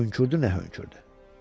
Hönkürdü nə hönkürdü.